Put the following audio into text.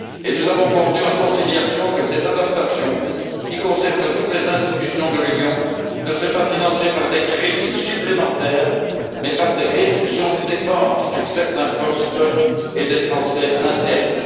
Nous avons convenu en conciliation que cette adaptation, qui concerne toutes les institutions de l'Union, ne serait pas financée par des crédits supplémentaires, mais par des réductions de dépenses sur certains postes et des transferts internes.